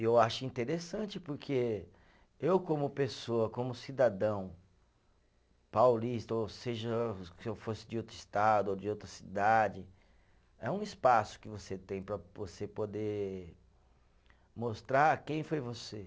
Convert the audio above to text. Eu acho interessante porque eu como pessoa, como cidadão paulista, ou seja, se eu fosse de outro estado ou de outra cidade, é um espaço que você tem para você poder mostrar quem foi você.